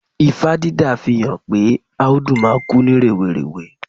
Ifá dídá fihan pe Áúdú máa kú ní rèwerèwe